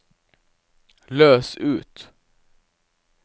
løs ut